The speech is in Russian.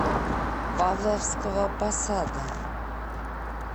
павловского посада